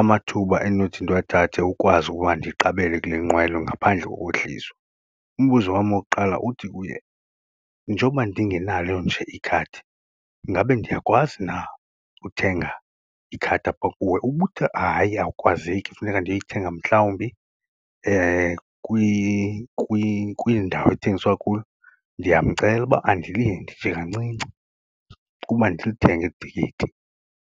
amathuba endinothi ndiwathathe ukwazi ukuba ndiqabele kule nqwelo ngaphandle kokwehliswa. Umbuzo wam wokuqala uthi kuye njoba ndingenalo nje ikhadi ingabe ndiyakwazi na uthenga ikhadi apha kuwe? Ubuthe, hayi awukwazeki funeka ndiyoyithenga mhlawumbi kwiindawo ekuthengiswa kuyo ndiyamcela uba andilinde nje kancinci ukuba ndilithenge eli tikiti.